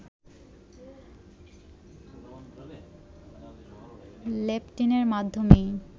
লেপটিনের মাধ্যেমেই